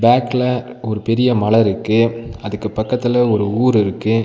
பேக்ல ஒரு பெரிய மல இருக்கு அதுக்கு பக்கத்துல ஒரு ஊர் இருக்கு.